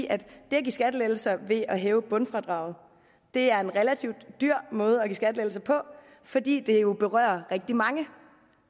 at give skattelettelser ved at hæve bundfradraget er en relativt dyr måde at give skattelettelser på fordi det jo berører rigtig mange